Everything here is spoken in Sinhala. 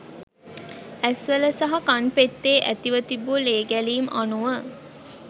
ඇස්වල සහ කන්පෙත්තේ ඇතිව තිබූ ලේගැලීම් අනුව